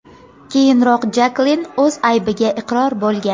Keyinroq Jaklin o‘z aybiga iqror bo‘lgan.